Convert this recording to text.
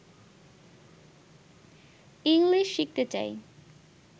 English শিখতে চাই